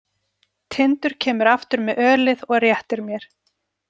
Tindur kemur aftur með ölið og réttir mér.